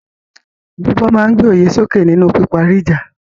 Gbígbọ́ máa ń gbé òye sókè nínú píparí ìjà.